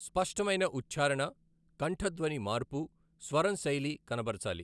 స్పష్టమైన ఉచ్ఛారణ కంఠధ్వని మార్పు స్వరం శైలి కనబరచాలి.